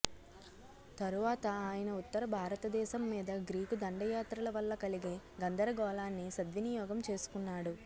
తరువాత ఆయన ఉత్తర భారతదేశం మీద గ్రీకు దండయాత్రల వల్ల కలిగే గందరగోళాన్ని సద్వినియోగం చేసుకున్నాడు